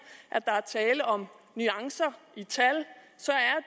at der er tale om nuancer i tal så er